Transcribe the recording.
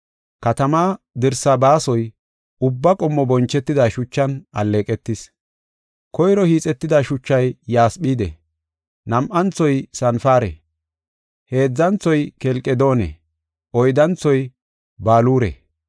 Katamaa dirsaa baasoy ubba qommo bonchetida shuchan alleeqetis. Koyro hiixetida shuchay yasphide, nam7anthoy sanpare, heedzanthoy kelqedoone, oyddanthoy baluure,